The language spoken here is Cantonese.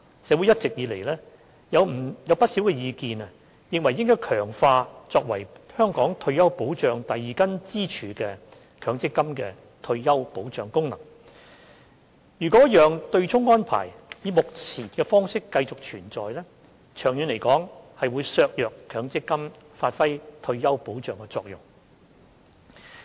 社會一直以來有不少意見認為應強化作為香港退休保障第二根支柱的強積金的退休保障功能，若讓對沖安排以目前的方式繼續存在，長遠會削弱強積金發揮退休保障的作用。